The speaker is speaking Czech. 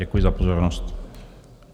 Děkuji za pozornost.